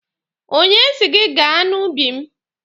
Onye si gị gaa n'ubi m?